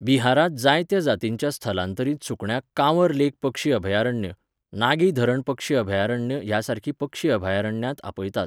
बिहारांत जायत्या जातींच्या स्थलांतरीत सुकण्यांक काँवर लेक पक्षी अभयारण्य, नागी धरण पक्षी अभयारण्य ह्यासारकीं पक्षी अभयारण्यांत आपयतात.